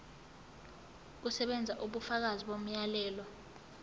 kusebenza ubufakazi bomyalelo